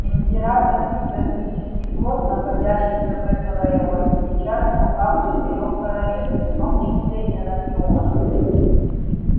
императорский космический флот находящийся в этом районе сейчас в руках в четырёх королевств в том числе и анакреона